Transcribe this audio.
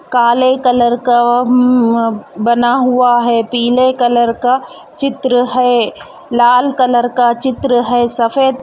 काले कलर का उम्म बना हुआ है पीले कलर का चित्र है लाल कलर का चित्र हे सफ़ेद --